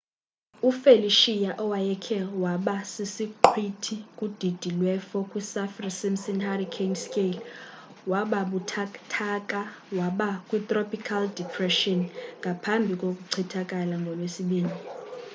ufelicia owayekhe waba sisiqhwithi kudidi lwe 4 kwisaffir-simpson hurricane scale wababuthathaka waba kwi-tropical depressionngaphambi kokuchithakala ngolwesibini